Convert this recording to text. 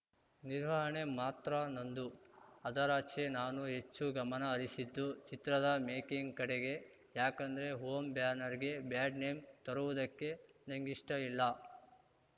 ನಿರ್ವಹಣೆ ಮಾತ್ರ ನಂದು ಅದರಾಚೆ ನಾನು ಹೆಚ್ಚು ಗಮನ ಹರಿಸಿದ್ದು ಚಿತ್ರದ ಮೇಕಿಂಗ್‌ ಕಡೆಗೆ ಯಾಕಂದ್ರೆ ಹೋಮ್‌ ಬ್ಯಾನರ್‌ಗೆ ಬ್ಯಾಡ್‌ ನೇಮ್‌ ತರವುದಕ್ಕೆ ನಂಗಿಷ್ಟಇಲ್ಲ